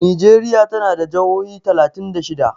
Nijeriya tana da jahohi talatin da shida.